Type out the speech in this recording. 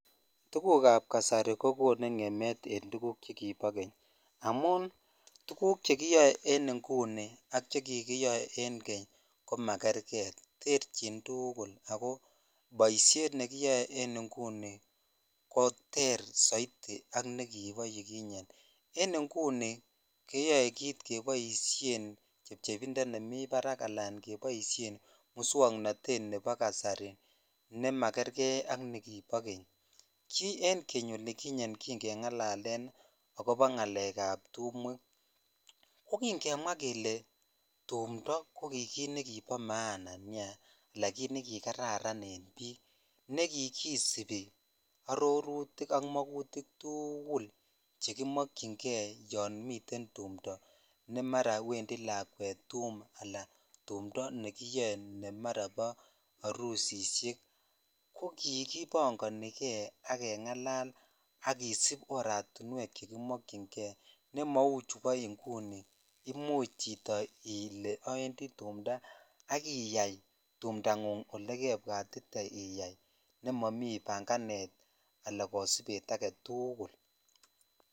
Tukukap kasari kokonu ng'emet en tukuk chekipo keny amun tukuk chekiyoe en inguni ak chekikiyoe en keny komakerge terchin tuugul ako boisiet nekiyoe en inguni koter soiti ak nekipo yukinye en inguni keyoe kit chepchepindo nemi parak alan keboisien muswong'onotet nepo kasari nemakerke ak nikipo keny ki en keny olikinye kingeng'alalen akopo ng'alekap tumwek kokingemwa kele tumtoo koki kit nekipo maana nia ala kit nekikararan en biik nekikisipi arorutik ak mokutik tuugul chekimokyingee yon miten tumndoo nemara wendi lakwet tum ala tumndoo nekiyoe nemara po arusisiek kokikipongonike akeng'alal akisip oratinwek chekimokyinge nemou chupo inguni imuchi chito ile awendi tumndoo akiyai tumndang'ung olekebwatite iyai nemomii panganet ala kosipet ake tuugul.